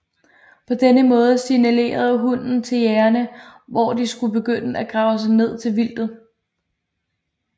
På denne måde signalerede hunden til jægerne hvor de skulle begynde at grave sig ned til vildtet